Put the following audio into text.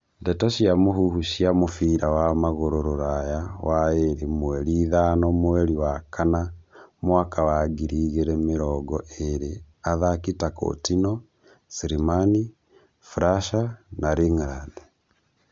Ndeto cia mũhuhu cia mũbira wa magũrũ Rũraya waĩrĩ mweri ithano mweri wa kana mwaka wa ngiri igĩrĩ mĩrongo ĩrĩ athaki ta Countinho, Slimani, Fraser, Lingrad